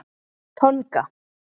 Tonga